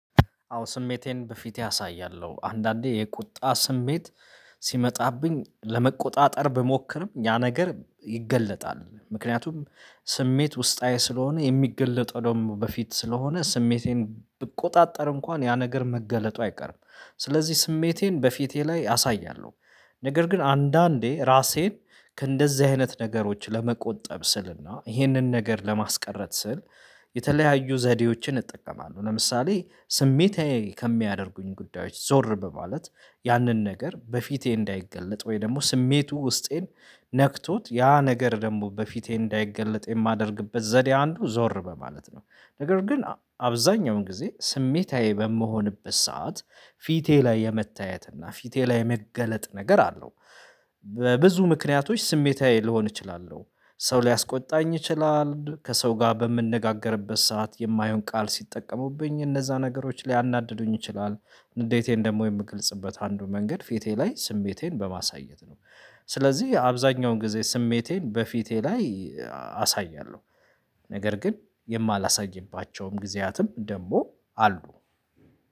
አዎ ስሜቴን በፊቴ አሳያለሁ አንዳንዴ የቁጣ ስሜት ሲመጣብኝ ለመቆጣጠር ብሞክርም ያ ነገር ይገለጣል። ምክንያቱም ስሜት ውስጣዊ ስለሆነ የሚገለጠው ደግሞ በፊት ስለሆነ ስሜቴን ብቆጣጠር እንኳን ያ ነገር መገለጡ አይቀርም። ስለዚህ ስሜቴን በፊቴ ላይ አሳያለሁ። ነገር ግን አንዳንዴ ራሴን ከእንደዚህ አይነት ነገሮች ለመቆጠብ ስልና ይህንን ነገር ለማስቀረት ስል የተለያዩ ዘዴዎችን እጠቀማለሁ። ለምሳሌ ስሜታዊ ከሚያደርጉኝ ጉዳዮች ዞር በማለት ያንን ነገር በፊቴ እንዳይገለጥ ወይ ደግሞ ስሜቱ ውስጤን ነክቶት ያ ነገር ደግሞ በፊቴ እንዳይገለጥ የማደርግበት ዘዴ አንዱ ዞር በማለት ነው። ነገር ግን አብዛኛውን ጊዜ ስሜታዊ በምሆንበት ሰዓት ፊቴ ላይ የመታየት እና ፊቴ ላይ መገለጥ ነገር አለው። በብዙ ምክንያቶች ስሜታዊ ልሆን እችላለሁ። ሰው ሊያስቆጣኝ ይችላል ከሰው ጋር በምንነጋገርበት ሰዓት የማይሆን ቃል ሲጠቀሙብኝ እነዛ ነገሮች ሊያናድዱኝ ይችላል። ንዴቴን ደግሞ የምግልጽበት አንዱ መንገድ ፊቴ ላይ ስሜቴን በማሳየት ነው። ስለዚህ አብዛኛውን ጊዜ ስሜቴን በፊቴ ላይ አሳያለሁ። ነገር ግን የማላሳይባቸውም ጊዜያትም ደግሞ አሉ